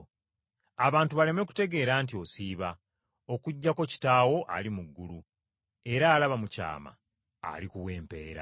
abantu baleme kutegeera nti osiiba, okuggyako Kitaawo ali mu ggulu era alaba mu kyama alikuwa empeera.”